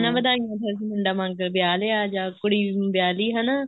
ਨਾ ਵਧਾਈਆਂ ਮੁੰਡਾ ਵਿਆਹ ਲਿਆ ਜਾਂ ਕੁੜੀ ਵਿਆਹ ਲਈ ਹਨਾ